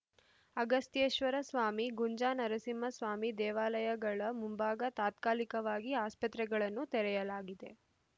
ಅಗಸ್ ಥೇಶ್ವರ ಸ್ವಾಮಿ ಗುಂಜಾ ನರಸಿಂಹಸ್ವಾಮಿ ದೇವಾಲಯಗಳ ಮುಂಭಾಗ ತಾತ್ಕಾಲಿಕವಾಗಿ ಆಸ್ಪತ್ರೆಗಳನ್ನು ತೆರೆಯಲಾಗಿದೆ